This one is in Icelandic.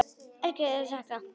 Elska þig og sakna!